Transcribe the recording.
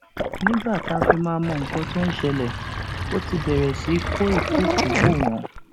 nígbà tá a fi máa mọ nǹkan tó ń ṣẹlẹ ó ti bẹrẹ sí í kó ìkúùkù bò wọn